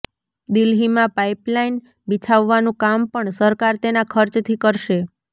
દિલ્હીમાં પાઈપલાઈન બિછાવવાનું કામ પણ સરકાર તેના ખર્ચથી કરશે